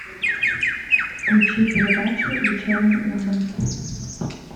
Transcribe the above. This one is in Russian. включи передачу вечерний ургант